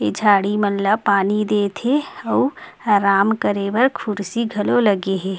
ये झाड़ी मन ला पानी देत हे आउ आराम करे बर कुर्सी घलो लगे हे।